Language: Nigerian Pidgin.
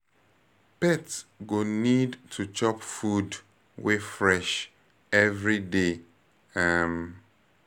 Pet go need to chop food wey fresh every day um